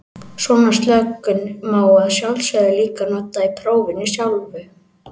Svona slökun má að sjálfsögðu líka nota í prófinu sjálfu.